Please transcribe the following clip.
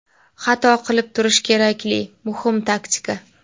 Xato qilib turish - kerakli, muhim taktika.